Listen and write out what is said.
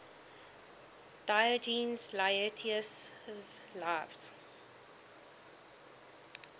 diogenes laertius's lives